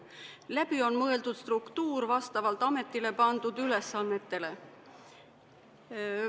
Läbi on mõeldud struktuur vastavalt ametile pandud ülesannetele.